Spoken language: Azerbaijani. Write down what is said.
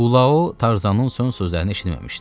Bulao Tarzanın son sözlərini eşitməmişdi.